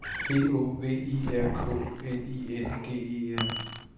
P Å V I R K N I N G E R